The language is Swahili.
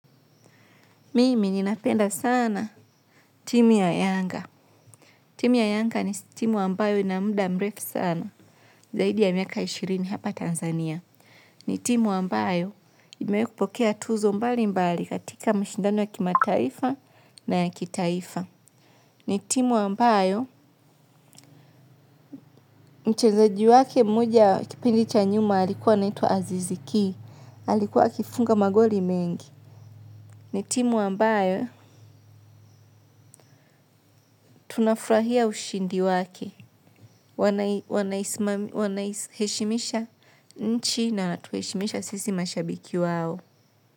Mimi ninapenda sana timu ya Yanga. Timu ya Yanga ni timu ambayo ina muda mrefu sana. Zaidi ya miaka ishirini hapa Tanzania. Ni timu ambayo imepokea tuzo mbalimbali katika mashindano ya kimataifa na ya kitaifa. Ni timu ambayo mchezaji wake mmoja wa kipindi cha nyuma alikuwa anaitwa azizi ki. Alikuwa akifunga magoli mengi. Ni timu ambayo tunafurahia ushindi wake. Wanaiheshimisha nchi na wanatuheshimisha sisi mashabiki wao.